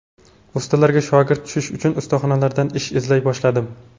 Ustalarga shogird tushish uchun ustaxonalardan ish izlay boshladim.